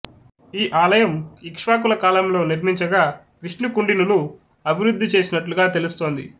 ఈ ఆలయం ఇక్ష్వాకుల కాలంలో నిర్మించగా విష్ణుకుండినులు అభివృద్ధి చేసినట్లుగా తెలుస్తోంది